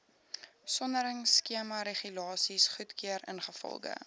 soneringskemaregulasies goedgekeur ingevolge